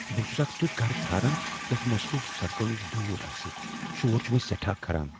بہٕ چھس اکھ تیتھ گرٕ ژھاران یس مصروف سڑکو نش دور آسہ شور چھ مےٚ سیٹھاہ کھران۔